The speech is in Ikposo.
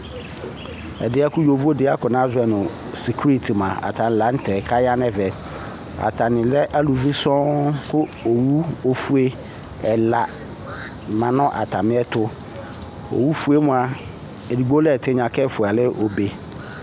Ɛdi yɛ kʋ yovodi yɛ akɔ nazɔ nʋ sekuriti mua atani la n'tɛ k'aya nɛvɛ Atani lɛ aluvi sɔŋ kʋ owu ofue ɛla manʋ atami ɛtʋ Owu fue mua, edigbo lɛ ɛtigna k'ɛfua yɛ lɛ obe